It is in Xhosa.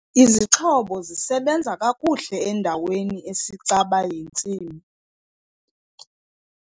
Izixhobo zisebenza kakuhle endaweni esicaba yentsimi.